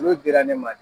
Olu dira ne ma de